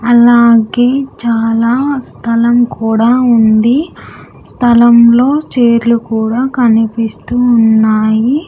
అలాగే చాలా స్థలం కూడా ఉంది స్థలంలో చైర్లు కూడా కనిపిస్తూ ఉన్నాయి.